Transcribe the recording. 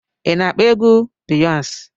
Ị na-akpọ egwu Biyọnsi?